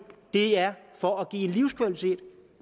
er for at give livskvalitet